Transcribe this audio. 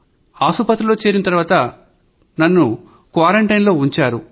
ఆస్పత్రిలో చేరిన తర్వాత నన్ను క్వారంటైన్ లో ఉంచారు